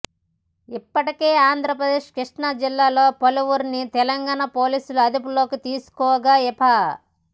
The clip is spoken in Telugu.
ఇప్పటికే ఆంధ్రప్రదేశ్ కృష్ణాజిల్లాలో పలువురిని తెలంగాణ పోలీసులు అదుపులోకి తీసుకోగా ఇప